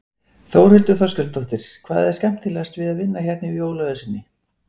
Þórhildur Þorkelsdóttir: Hvað er skemmtilegast við að vinna hérna í jólaösinni?